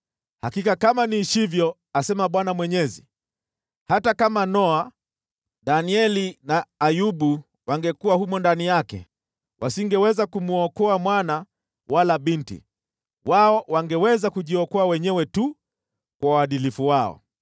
hakika kama niishivyo, asema Bwana Mwenyezi, hata kama Noa, Danieli na Ayubu wangekuwa humo ndani yake, wasingeweza kumwokoa mwana wala binti. Wao wangeweza kujiokoa wenyewe tu kwa uadilifu wao.